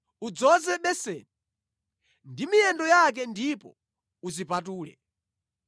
Udzoze beseni ndi miyendo yake ndipo uzipatule.